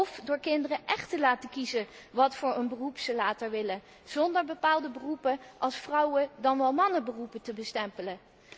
Of door kinderen echt te laten kiezen voor een beroep dat ze later willen, zonder bepaalde beroepen als vrouwen dan wel mannenberoepen te bestempelen.